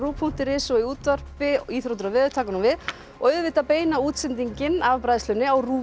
punktur is og í útvarpi íþróttir og veður taka nú við og auðvitað beina útsendingin af bræðslunni á RÚV